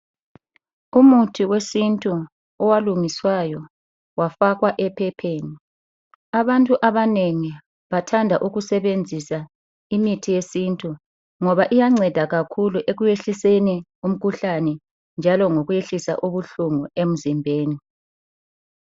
Umuthi wesintu owalungiswayo wafakwa ephepheni, abantu abanengi bathanda ukusebenzisa imithi yesintu ngoba iyanceda kakhulu ekuyehliseni umkhuhlane njalo lokuyehlisa ubuhlungu emzimbeni.